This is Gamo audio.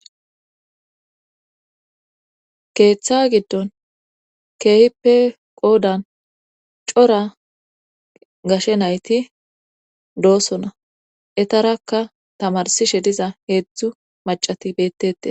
keeththa giddon keehippe qoodan cora gashe nayti doosona etarakka tamarsishe diza heedzdzu macati beettete